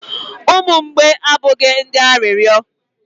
umu mgbei abụghị ndị arịrịọ